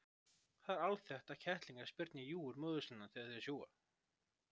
Það er alþekkt að kettlingar spyrna í júgur móður sinnar þegar þeir sjúga.